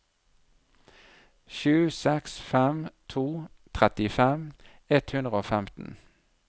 sju seks fem to trettifem ett hundre og femten